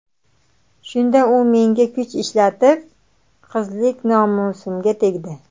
Shunda u menga kuch ishlatib, qizlik nomusimga tegdi.